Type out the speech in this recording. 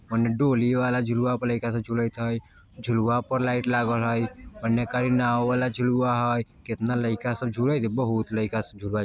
ओने डोली वाला झुलवा पर लइका सब झूलत हय झुलवा पर लाइट लागल हय ओने खाली नाव वाला झुलवा हय केतना लइका सब झूलत हय बहुत लइका सब झूलएत --